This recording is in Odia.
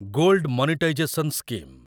gold monetization scheme